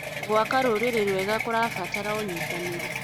Gwaka rũrĩrĩ rwega kũrabatara ũnyitanĩri.